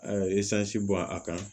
A ye bɔn a kan